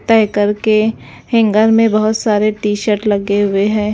तह करके हैंगर में बहुत सारे टी-शर्ट लगे हुए हैं।